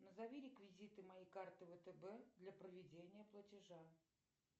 назови реквизиты моей карты втб для проведения платежа